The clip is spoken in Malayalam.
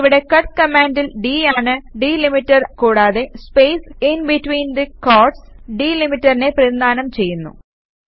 ഇവിടെ കട്ട് കമാന്ഡിൽ d ആണ് ഡിലിമീറ്റർ കൂടാതെ സ്പേസ് ഇന്ബിറ്റ്വീന് ദി ക്വോറ്റ്സ് ഡിലിമീറ്ററിനെ പ്രതിനിധാനം ചെയ്യുന്നു